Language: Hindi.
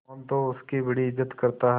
मोहन तो उसकी बड़ी इज्जत करता है